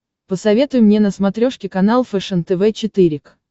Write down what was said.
посоветуй мне на смотрешке канал фэшен тв четыре к